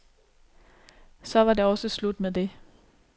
Så var det også slut med det.